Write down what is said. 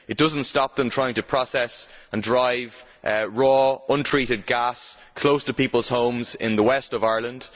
It does not stop them trying to process and dry raw, untreated gas close to peoples' homes in the West of Ireland.